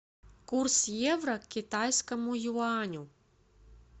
курс евро к китайскому юаню